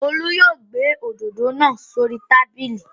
Olú yóò gbé òdòdó náa s'ori tábìlì.